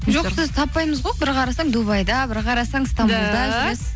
жоқ сізді таппаймыз ғой бір қарасаң дубайда бір қарасаң стамбулда